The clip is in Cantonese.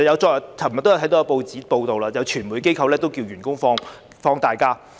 昨天也看到報章報道，有傳媒機構要求員工放取年假。